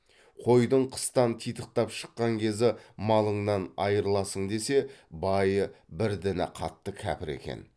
қойдың қыстан титықтап шыққан кезі малыңнан айырыласың десе байы бір діні қатты кәпір екен